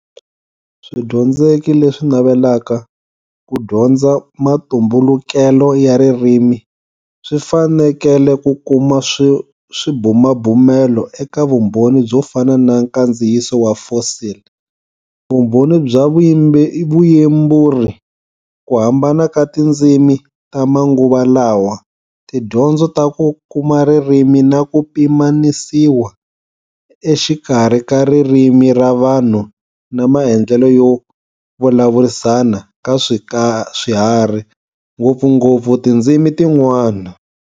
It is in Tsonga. Swidyondzeki leswi navelaka ku dyondza matumbulukelo ya ririmi swi fanekele ku kuma swibumabumelo eka vumbhoni byo fana na nkandziyiso wa fossil, vumbhoni bya vuyemburi, ku hambana ka tindzimi ta manguva lawa, tidyondzo ta ku kuma ririmi na ku pimanisiwa exikarhi ka ririmi ra vanhu na maendlelo yo vulavurisana ka swiharhi, ngopfungopfu tindzimi tin'wana.